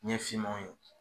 Ɲɛ finmaw ye .